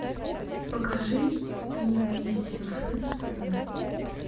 покажи мне вместе рф на тв